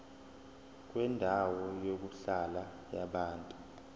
kwendawo yokuhlala yabantu